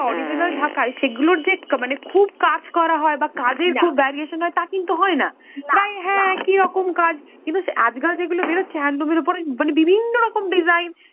original ঢাকাই সেগুলোর যে মানে খুব কাজ করা হয় বা কাজের খুব variation হয়, তা কিন্তু হয় না। প্রায় হ্যাঁ একইরকম কাজ, কিন্তু আজকাল যেগুলো বেরচ্ছে handloom এর ওপরে মানে বিভিন্ন রকম design